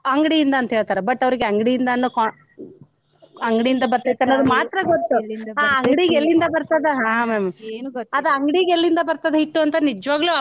ಅಂಗ್ಡಿನ್ದ ಅಂತ ಹೇಳ್ತಾರ but ಅವ್ರಿಗ ಅಂಗ್ಡಿನ್ದ ಅನ್ನೋ ಅಂಗ್ಡಿನ್ದ ಬರ್ತೇತಿ ಅನ್ನೋದ ಮಾತ್ರ ಗೊತ್ತ ಆ ಅಂಗಡಿಗ ಎಲ್ಲಿಂದ ಬರ್ತದ ಅದ ಅಂಗಡಿಗೆಲ್ಲಿಂದ ಬರ್ತದ ಹಿಟ್ಟು ಅಂತ ನಿಜವಾಗ್ಲೂ.